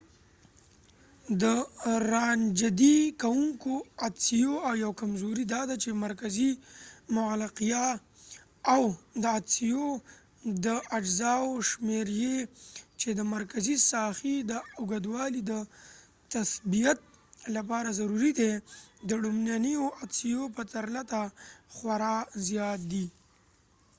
د رانژدې کوونکو عدسیو یو کمزوری داده چی مرکزي مغلقتیا او د عدسیو د اجزاوو شمیر یې چې د مرکزي ساحې د اوږوالي د تثبیت لپاره ضروري دی د لومړنیو عدسیو په پرتله خورا زیات دی